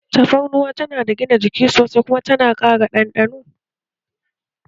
Tafarnuwa tana da gina jiki sosai kuma tana ƙara ɗanɗano